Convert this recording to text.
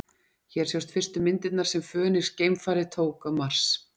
Hér sjást fyrstu myndirnar sem Fönix-geimfarið tók á Mars.